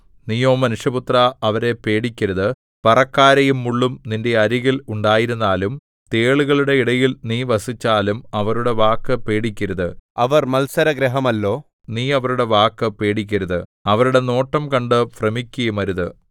നീയോ മനുഷ്യപുത്രാ അവരെ പേടിക്കരുത് പറക്കാരയും മുള്ളും നിന്റെ അരികിൽ ഉണ്ടായിരുന്നാലും തേളുകളുടെ ഇടയിൽ നീ വസിച്ചാലും അവരുടെ വാക്ക് പേടിക്കരുത് അവർ മത്സരഗൃഹമല്ലോ നീ അവരുടെ വാക്ക് പേടിക്കരുത് അവരുടെ നോട്ടം കണ്ട് ഭ്രമിക്കുകയുമരുത്